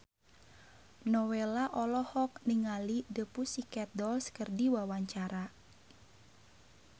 Nowela olohok ningali The Pussycat Dolls keur diwawancara